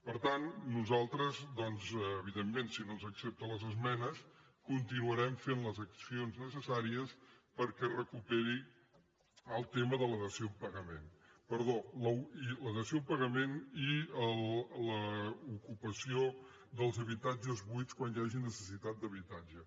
per tant nosaltres evidentment si no ens accepten les esmenes continuarem fent les accions necessàries perquè es recuperi el tema de la dació en pagament i l’ocupació dels habitatges buits quan hi hagi necessitat d’habitatge